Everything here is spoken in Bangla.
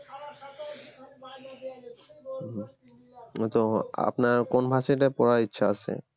আপনার কোন varsity তে পড়ার ইচ্ছা আছে?